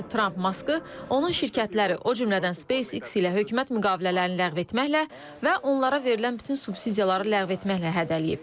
Belə ki, Tramp Maskı, onun şirkətləri, o cümlədən SpaceX ilə hökumət müqavilələrini ləğv etməklə və onlara verilən bütün subsidiyaları ləğv etməklə hədələyib.